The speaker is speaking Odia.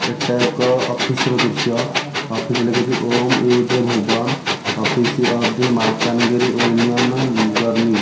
ଏଟା ଏକ ଅଫିସ୍ ର ଦୃଶ୍ୟ ଅଫିସ୍ ଲେଖିଚି ଓମ୍ ୟୂଦେ ଭୁବନ office of the Malkangiri union ଜର୍ନୀ ।